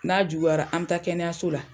N'a juguyara, an be taa kɛnɛyaso la.